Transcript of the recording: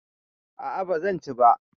A a ba zan ci ba.